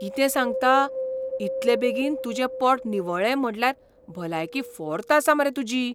कितें सांगता? इतलें बेगीन तुजें पोट निवळ्ळें म्हटल्यार भलायकी फॉर्त आसा मरे तुजी.